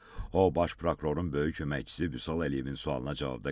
O, baş prokurorun böyük köməkçisi Vüsal Əliyevin sualına cavabda qeyd etdi ki,